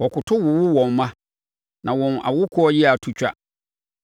Wɔkoto wowo wɔn mma; na wɔn awokoɔ yea to twa.